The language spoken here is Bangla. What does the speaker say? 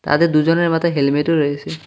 তাদের দুজনের মাথায় হেলমেটও রয়েসে।